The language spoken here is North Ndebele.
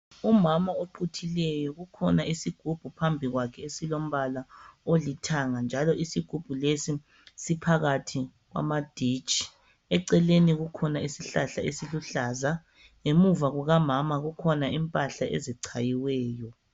Umama oquthileyo. Kukhona isigubhu phambi kwakhe, esilombala olithanga, njalo isigubhu lesi, siphakathi kwamaditshi. Eceleni kukhona isihlahla esiluhlaza. Ngemuva kukamama, kukhona impahla ezichayiweyo.